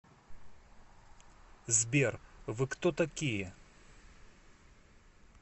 сбер вы кто такие